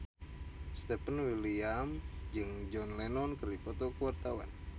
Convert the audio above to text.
Stefan William jeung John Lennon keur dipoto ku wartawan